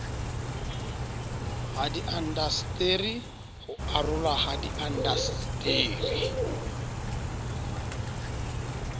hadiindaseteri ho arolwa ha diindaseteri